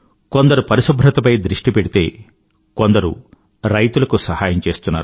కొందరు పరిశుభ్రతపై దృష్టి పెడితే కొందరు రైతులకు సహాయం చేస్తున్నారు